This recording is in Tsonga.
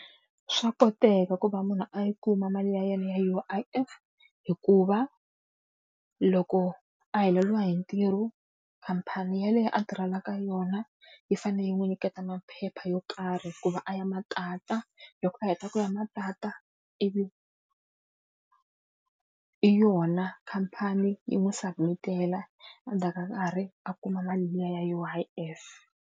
Swa koteka ku va munhu a yi kuma mali ya yena ya U_I_F hikuva, loko a heleriwe hi ntirho khamphani yaleyo a tirhelaka yona yi fanele yi n'wi nyiketa maphepha yo karhi ku va a ya ma tata, loko a heta ku ya ma tata, ivi i yona khamphani yi n'wi submit-ela, endzhaku ka nkarhi a kuma mali liya ya U_I_F.